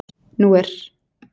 Nú er